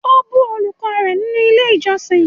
O bu olùkọ́ rẹ nínú ilé ìjósìn!